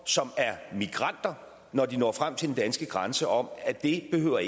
som er migranter når de når frem til den danske grænse om at det ikke behøver